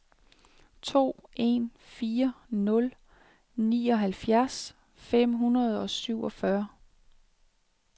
to en fire nul nioghalvfjerds fem hundrede og syvogfyrre